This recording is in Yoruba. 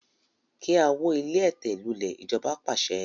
Kí a wó ilé ẹ̀tẹ̀ lulè! ijoba paṣẹ